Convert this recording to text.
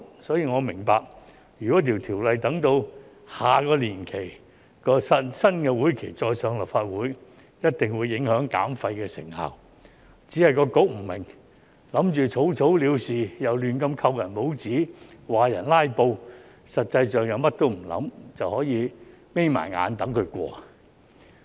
所以，我明白如《條例草案》待下個新會期才提交立法會，一定會影響減廢的成效，只是局方不明白，打算草草了事，又胡亂扣人帽子指人"拉布"，實際上卻甚麼也不想，便可以閉上眼睛等待《條例草案》通過。